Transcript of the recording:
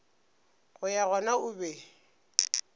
go ya gona o be